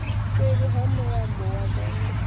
seḽi ha mulambo wa vhembe